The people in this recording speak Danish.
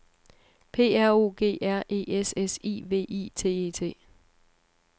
P R O G R E S S I V I T E T